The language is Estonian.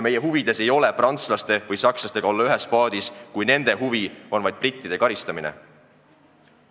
Meie huvides ei ole olla ühes paadis prantslaste või sakslastega, kui nende huvi on vaid brittide karistamine.